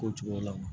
Ko cogo la